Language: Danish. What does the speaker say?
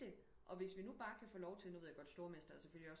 I det og hvis vi nu bare kan få lov til nu ved jeg jo godt stormester er selvfølgelig også